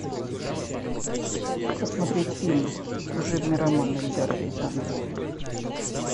посмотреть фильм служебный роман эльдара рязанова